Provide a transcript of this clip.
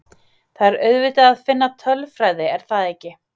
Það er auðvitað að finna tölfræði, er það ekki?